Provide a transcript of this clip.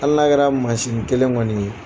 Ali n'a kɛra masinnin kelen kɔni ye